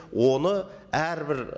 оны әрбір